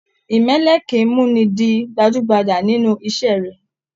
Imẹlẹ kìí muni dì gbajúgbajà nínú iṣẹ rẹ.